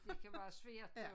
Det kan være svært jo